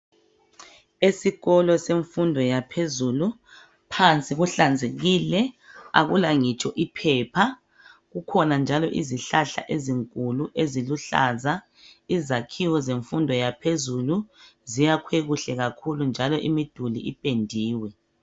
Esikolo semfundo yaphezulu phansi kuhlanzekile akula ngitsho iphepha kukhona njalo izihlahla ezinkulu eziluhlaza izakhiwo zemfundo yaphezulu ziyakhwe kuhle kakhulu njalo imiduli ipendiwe.